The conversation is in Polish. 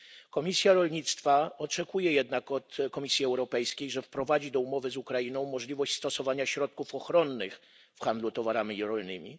Komisja Rolnictwa oczekuje jednak od Komisji Europejskiej, że wprowadzi do umowy z Ukrainą możliwość stosowania środków ochronnych w handlu towarami rolnymi.